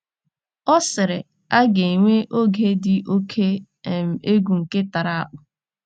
Ọ sịrị: “ A ga -- enwe oge dị oké um egwu, nke tara akpụ.